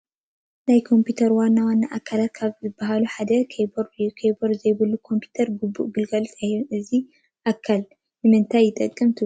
ናይ ኮምፒዩተር ዋና ዋና ኣካላት ካብ ዝበሃሉ ሓደ ኪይቦርድ እዩ፡፡ ኪቦርድ ዘይብሉ ኮምፒዩተር ግቡእ ግልጋሎት ኣይህብን፡፡ እዚ ኣካል ንምንታይ ይጠቅም ትብሉ?